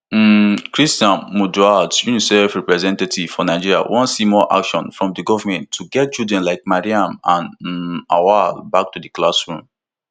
um cristian munduate unicef representative for nigeria wan see more action from di goment to get children like mariam and um auwal back to di classroom